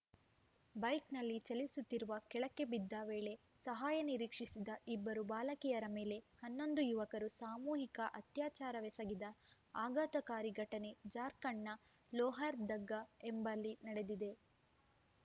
ಬೈಕ್‌ನಲ್ಲಿ ಚಲಿಸುತ್ತಿರುವ ಕೆಳಕ್ಕೆ ಬಿದ್ದ ವೇಳೆ ಸಹಾಯ ನಿರೀಕ್ಷಿಸಿದ ಇಬ್ಬರು ಬಾಲಕಿಯರ ಮೇಲೆ ಹನ್ನೊಂದು ಯುವಕರು ಸಾಮೂಹಿಕ ಅತ್ಯಾಚಾರವೆಸಗಿದ ಆಘಾತಕಾರಿ ಘಟನೆ ಜಾರ್ಖಂಡ್‌ನ ಲೋಹರ್‌ದಗ್ಗಾ ಎಂಬಲ್ಲಿ ನಡೆದಿದೆ